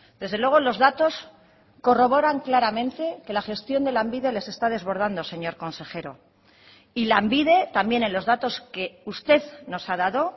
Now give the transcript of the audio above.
desde luego los datos corroboran claramente que la gestión de lanbide les está desbordando señor consejero y lanbide también en los datos que usted nos ha dado